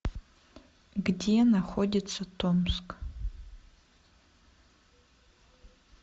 где находится томск